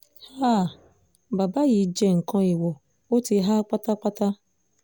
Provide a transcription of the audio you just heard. háà bàbá yìí jẹ́ nǹkan èèwọ̀ ó ti há pátápátá